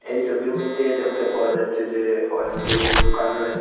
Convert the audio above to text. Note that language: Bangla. এই সবির মইধ্যে দেখতে পাওয়া যাচ্ছে যে অনেকগুলো দোকান রয়েসে।